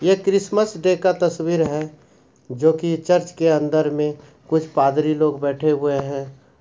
ये Christmas day का तस्वीर है जो की चर्च के अंदर में कुछ पादरी लोग बैठे हुए हैं।